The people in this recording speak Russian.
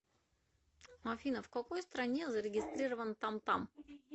афина в какой стране зарегистрирован тамтам